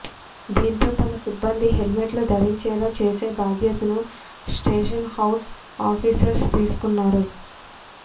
దీంతో తమ సిబ్బంది హెల్మెట్లు ధరించేలా చేసే బాధ్యతను స్టేషన్ హౌస్ ఆఫీసర్స్ తీసుకున్నారు